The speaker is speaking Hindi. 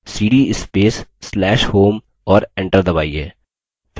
cd space/slash home और enter दबाइए